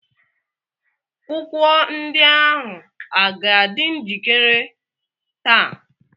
kwụkwọ ndị ahụ a ga-adị njikire taa?